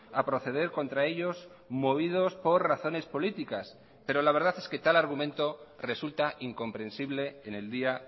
a proceder contra ellos movidos por razones políticas pero la verdad es que tal argumento resulta incomprensible en el día